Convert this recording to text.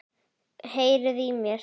Heyriði í mér?